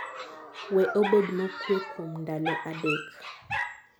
we obed mokue kuom ndalo adek